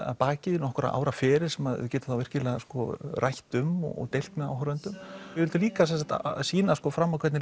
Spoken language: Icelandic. að baki nokkurra ára feril sem maður getur virkilega rætt um og deilt með áhorfendum við vildum líka sýna fram á hvernig